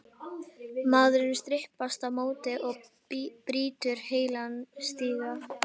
Maðurinn stimpast á móti og brýtur heilan stiga!